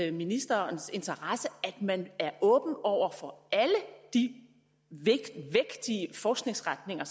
i ministerens interesse at man er åben over for alle de vægtige forskningsretninger